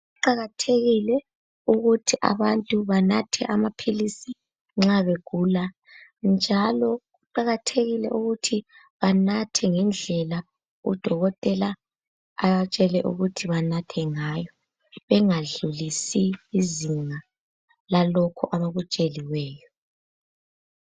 Kuqakathekile ukuthi abantu banathe amaphilisi nxa begula njalo kuqakathekile ukuthi banathe ngendlela udokotela abatshele ukuthi banathe ngayo bengadlulisi izinga lalokho abakutsheliweyo.